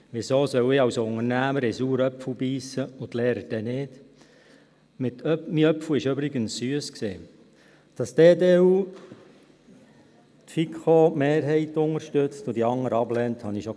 Weshalb soll ich als Unternehmer in den «sauren Apfel» beissen, die Lehrer aber dann nicht?